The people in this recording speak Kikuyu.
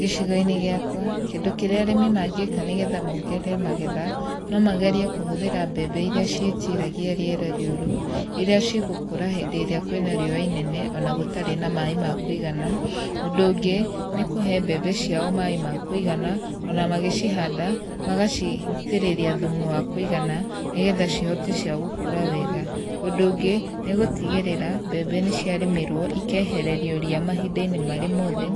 Gĩcigo-inĩ gĩakwa kĩndũ kĩrĩa arĩmi mangĩka nĩgetha mongerere magetha no magerie kũhũthĩra mbemba iria ciĩtiragia rĩera rĩũru, iria cigũkũra hĩndĩ ĩrĩa kwĩna riũa inene, ona gũtarĩ na maĩ ma kũigana. Ũndũ ũngĩ nĩ kũhe mbembe ciao maĩ ma kũigana ona magĩcihanda magacitĩrĩria thumu wa kũigana, nĩgetha cihote cia gũkũra wega. Ũndũ ũngĩ, nĩ gũtigĩrĩra mbembe nĩciarĩmĩrwo ikehererio ria mahinda-inĩ marĩ mothe,